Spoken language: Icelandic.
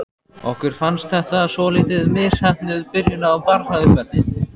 Okkur fannst þetta svolítið misheppnuð byrjun á barnauppeldi.